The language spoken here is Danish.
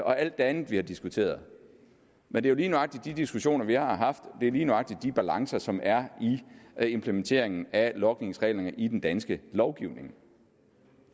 og alt det andet vi har diskuteret men det er lige nøjagtig de diskussioner vi har haft det er lige nøjagtig de balancer som er i implementeringen af logningsreglerne i den danske lovgivning